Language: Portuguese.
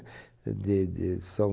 De de são